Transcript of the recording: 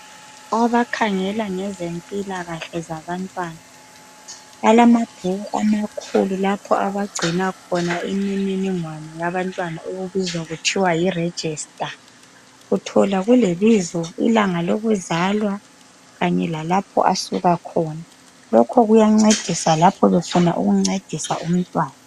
Abakhangela ngezempilakahle zabantwana. Balamabhuku amakhulu lapha abagcina khona imininingwana yabantwana. Okubizwa kuthiwa yiregister, Uthola kulebizo, ilanga lokuzalwa. Lalapha asuka khona. Lokhu kuyancedisa nxa befuna ukuncedisa umntwana.